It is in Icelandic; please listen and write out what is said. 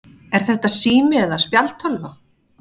Er þetta sími eða spjaldtölva?